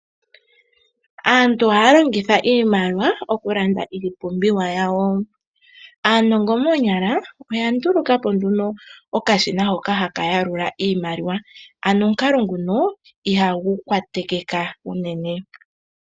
Aantu ohaya longitha iimaliwa okulanda iipumbiwa yawo. Aanongo moonyala oya ndulukapo nduno okashina hoka haka yalula iimaliwa ano omukalo nguno ihagu kwaatekeka uunene.